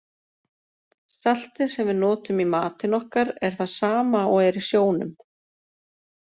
Saltið sem við notum í matinn okkar er það sama og er í sjónum.